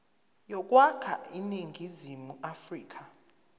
yokwakha iningizimu afrika